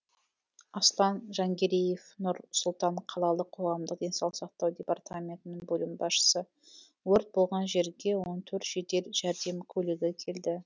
аслан жангереев нұр сұлтан қалалық қоғамдық денсаулық сақтау департаментінің бөлім басшысы өрт болған жерге он төрт жедел жәрдем көлігі келді